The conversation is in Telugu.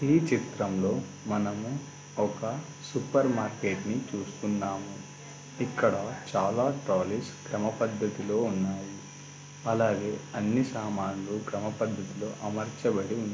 ఈ చిత్రంలో మనము ఒక సూపర్ మార్కెట్ ని చూస్తున్నాము ఇక్కడ చాలా ట్రాలీస్ సమపద్ధతిలో ఉన్నాయి అలాగే అన్నీ సామాలు క్రమపద్ధతిలో అమర్చబడి ఉన్నాయి